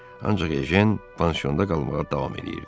Ancaq Ejen pansiyonda qalmağa davam edirdi.